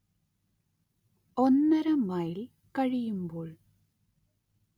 ഒന്നര മൈൽ കഴിയുമ്പോൾ